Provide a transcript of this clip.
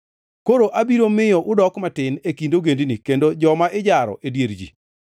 “Koro abiro miyo udok matin e kind ogendini, kendo joma ijaro e dier ji.